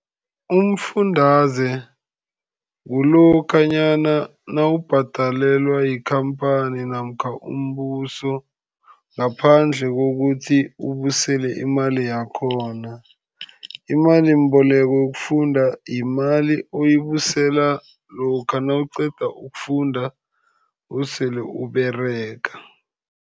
Umfundaze kulokhanyana nawubhadalelwa yikhamphani namkha umbuso ngaphandle kokuthi ubuyisele imali yakhona. Imalimboleko yokufunda yimali oyibuyisela lokha nawuqeda ukufunda, usele uberega.